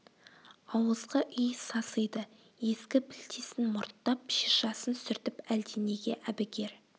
ауызғы үй сасиды ескі пілтесін мұрттап шишасын сүртіп әлденеге әбігер